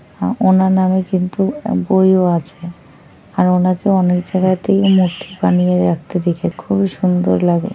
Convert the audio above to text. আ ওনার নামে কিন্তু বইও আছে আর ওনাকে অনেক জায়গাতেই মূর্তি বানিয়ে রাখতে দেখে খুবই সুন্দর লাগে।